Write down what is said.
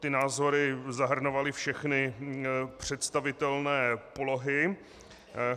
Ty názory zahrnovaly všechny představitelné polohy.